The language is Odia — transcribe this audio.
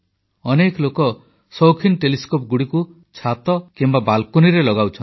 ଅନେକ ଲୋକ ସୌଖିନ୍ ଟେଲିସ୍କୋପଗୁଡ଼ିକୁ ଛାତ କିମ୍ବା ବାଲକୋନିରେ ଲଗାଉଛନ୍ତି